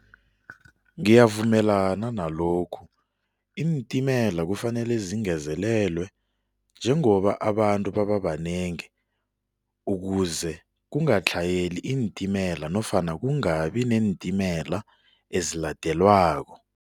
Ngiyavumelana nalokhu. Iintimela kufanele zingezelelwe njengoba abantu baba banengi ukuze kungatlhayeli iintimela nofana kungabi neentimela eziladelwako.